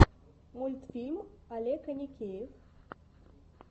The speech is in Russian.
мультфильм олег аникеев